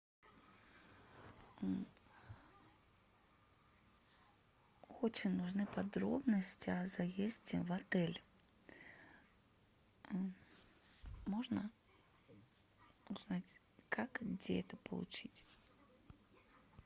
очень нужны подробности о заезде в отель можно узнать как и где это получить